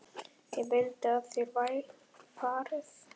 Ég vil að þér farið.